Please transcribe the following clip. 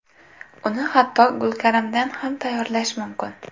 Uni hattoki gulkaramdan ham tayyorlash mumkin.